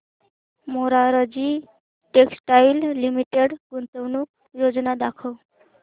Morarji textiles limited गुंतवणूक योजना दाखव